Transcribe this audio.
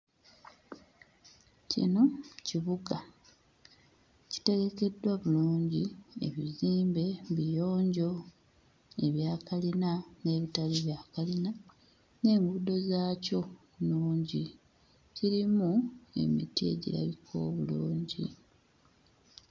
Kino kibuga kitegekeddwa bulungi ebizimbe biyonjo ebya kalina n'ebitali bya kalina n'enguudo zaakyo nnungi kirimu emiti egirabika obulungi.